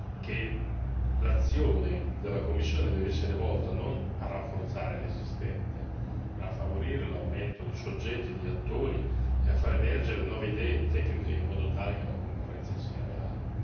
che l'azione della Commissione deve essere volta non a rafforzare l'esistente, ma a favorire l'aumento di soggetti, di attori, e a fare emergere nuove idee e tecniche in modo tale che la concorrenza sia reale.